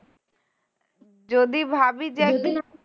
যদি ভাবি যে একদিন